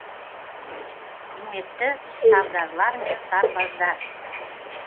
құрметті сардарлар мен сарбаздар